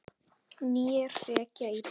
Né hrekja í burt!